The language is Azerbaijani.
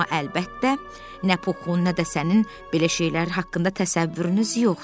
Amma əlbəttə, nə Puxun, nə də sənin belə şeylər haqqında təsəvvürünüz yoxdur.